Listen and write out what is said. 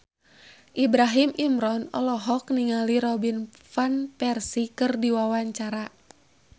Ibrahim Imran olohok ningali Robin Van Persie keur diwawancara